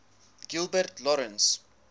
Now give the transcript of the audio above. gilbert lawrence